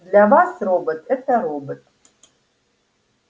для вас робот это робот